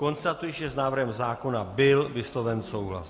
Konstatuji, že s návrhem zákona byl vysloven souhlas.